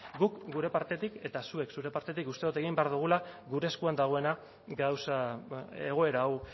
guk gure partetik eta zuek zure partetik uste dut egin behar dugula gure eskuan dagoena gauza egoera hau